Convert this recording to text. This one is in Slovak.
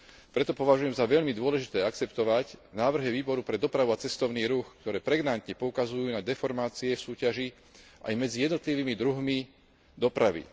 Preto považujem za veľmi dôležité akceptovať návrhy Výboru pre dopravu a cestovný ruch, ktoré pregnantne poukazujú na deformácie v súťaži, aj medzi jednotlivými druhmi dopravy.